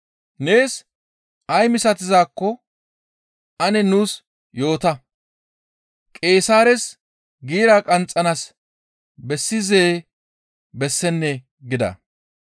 Nees ay misatizaakko ane nuus yoota; Qeesaares giira qanxxanaas bessizee? Bessennee?» gida.